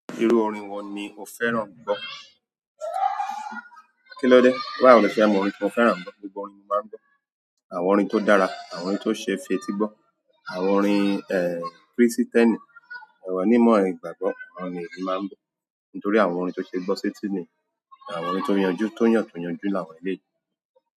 Irú orin wo ni o fẹ́ràn gbo? Kí lọ dé? Báwo lo ṣe mọ orin tí mo fẹ́ràn gbo? Gbogbo orin ni mo máa ń gbọ́. Àwọn orin tó dára, àwọn orin tó ṣe fetí gbọ́, àwọn orin, eh, Kristẹni, àwọn onímọ̀ ìgbàgbọ́, àwọn le mi màá ń gbọ́. Nítorí àwọn orin tó ṣe gbọ́ sí etì ni, àwọn orin tó yanjú, tó yàn tó yanjú láwọn eleyii.